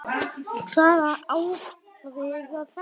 Hvaða hávaði var þetta?